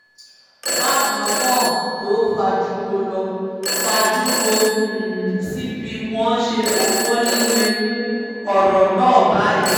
bákan náà ló fàjọrò ló fàjọrò sí bí wọ́n ṣe fọwọ́ líle mú ọ̀rọ̀ náà báyìí